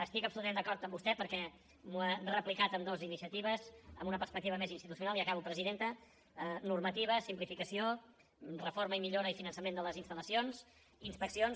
estic absolutament d’acord amb vostè perquè m’ho ha replicat en dues iniciatives en una perspectiva més institucional i acabo presidenta normativa simplificació reforma i millora i finançament de les installacions inspeccions